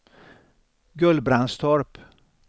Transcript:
Gullbrandstorp